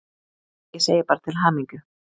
Ég segi bara til hamingju!